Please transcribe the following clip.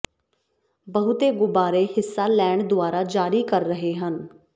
ਬਹੁਤੇ ਗੁਬਾਰੇ ਹਿੱਸਾ ਲੈਣ ਦੁਆਰਾ ਜਾਰੀ ਕਰ ਰਹੇ ਹਨ